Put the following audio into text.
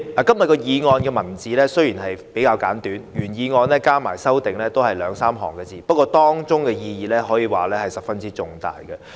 代理主席，今天這項議案內容簡短，原議案連同修正案只有兩三行文字，但當中的意義卻十分重大。